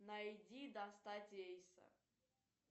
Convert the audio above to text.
найди достать эйса